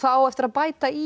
á eftir að bæta í